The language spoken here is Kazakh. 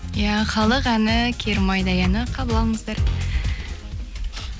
иә халық әні керімайдай әні қабыл алыңыздар